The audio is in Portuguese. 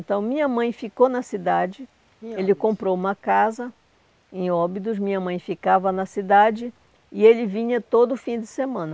Então, minha mãe ficou na cidade, ele comprou uma casa em Óbidos, minha mãe ficava na cidade e ele vinha todo fim de semana.